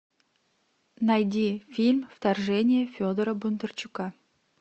найди фильм вторжение федора бондарчука